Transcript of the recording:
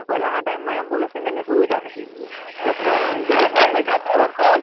પહેલાના ટાઇમમાં એમ્બુલન્સ અને તેની સુવિધા નથી, જો પ્લેયરને ઈન્જરી થાય તો